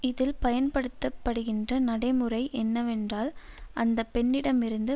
இதில் பயன்படுத்தப்படுகின்ற நடைமுறை என்னவென்றால் அந்த பெண்ணிடமிருந்து